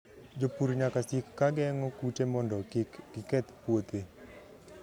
Jopur nyaka sik ka geng'o kute mondo kik giketh puothe.